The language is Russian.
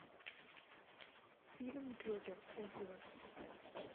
фильм джокер отзывы